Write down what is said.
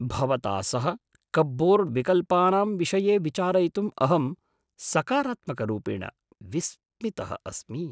भवता सह कप्बोर्ड् विकल्पानां विषये विचारयितुं अहं सकारात्मकरूपेण विस्मितः अस्मि।